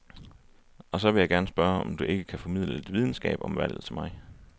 Og så vil jeg gerne spørge, om du ikke kan formidle lidt videnskab om valget til mig.